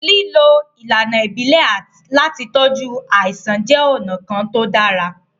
Lílo ìlànà ibile láti tọju àìsàn jẹ ọ̀nà kan tí ó dára